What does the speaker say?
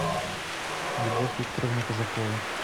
любовь викторовна казакова